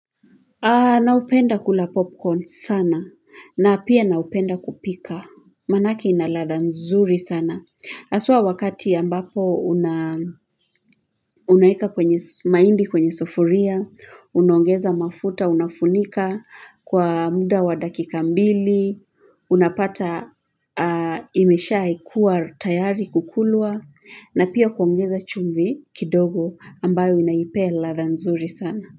Naupenda kula popcorn sana. Na pia naupenda kupika. Manake ina ladha nzuri sana. Aswa wakati ambapo unaeka maindi kwenye sufuria, unuongeza mafuta, unafunika kwa muda wa dakika mbili, unapata imesha ikua tayari kukulwa, na pia kuongeza chumvi kidogo ambayo inaipea ladha nzuri sana.